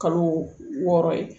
Kalo wɔɔrɔ ye